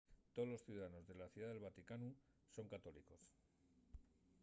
tolos ciudadanos de la ciudá del vaticanu son católicos